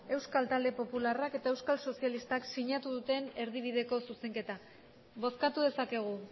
euskal talde popularrak eta euskal sozialistak taldeak sinatu duten erdibideko zuzenketa bozkatu dezakegu